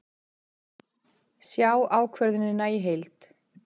Sjá ákvörðunina í heild